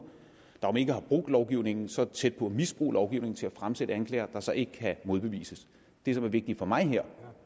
der om ikke har brudt lovgivningen så tæt på at misbruge lovgivningen til at fremsætte anklager der så ikke kan modbevises det som er vigtigt for mig her